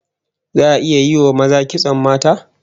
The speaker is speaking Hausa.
Za'a iya yi wa maza kitson mata?